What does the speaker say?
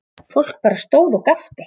Fólk bara stóð og gapti.